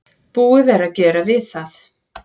Búið er að gera við það.